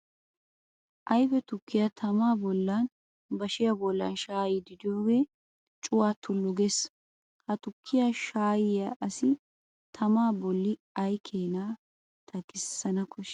Ayfe tukiya tamma bollan bashiya bollan shayyidi de'iyooge cuwaa tullu gees. Ha tukkiya shayiya asi tamma bolli ay keena takissana koshshi?